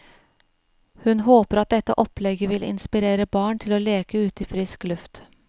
Hun håper at dette opplegget vil inspirere barn til å leke ute i frisk luft.